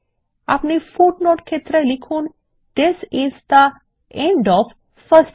আপনি পাদটীকা ক্ষেত্রে লিখুন this is the end of first page